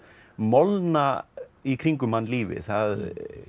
molna í kringum hann lífið það